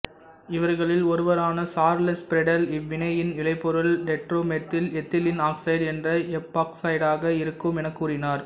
இவர்களில் ஒருவரான Charles Friedel இவ்வினையின் விளைபொருள் டெட்ராமெத்தில் எத்திலீன் ஆக்சைடு என்ற எப்பாக்சைடாக இருக்கும் எனக் கூறினார்